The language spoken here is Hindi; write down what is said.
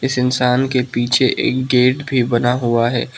इस इंसान के पीछे एक गेट भी बना हुआ है।